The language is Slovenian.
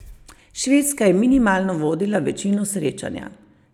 Švedska je minimalno vodila večino srečanja.